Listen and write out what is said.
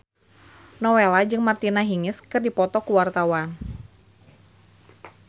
Nowela jeung Martina Hingis keur dipoto ku wartawan